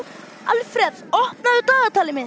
Alfreð, opnaðu dagatalið mitt.